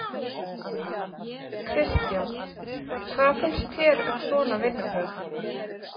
Kristján: Hvað finnst þér um svona vinnubrögð?